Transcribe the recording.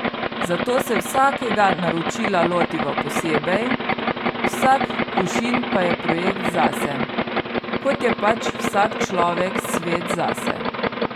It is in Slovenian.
Zato se vsakega naročila lotiva posebej, vsak kušin pa je projekt zase, kot je pač vsak človek svet zase.